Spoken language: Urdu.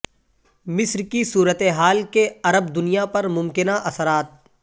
مصر کی صورتحال کے عرب دنیا پر ممکنہ اثرات